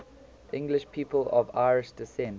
english people of irish descent